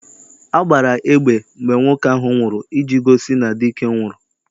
A gbara egbe mgbe nwoke ahụ nwụrụ iji gosi na dike nwụrụ.